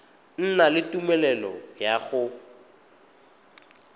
na le tumelelo ya go